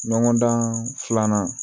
Ɲɔgɔndan filanan